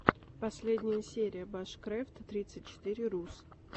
последняя серия башкрэфт тридцать четыре рус